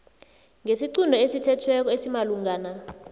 ngesiqunto esithethweko esimalungana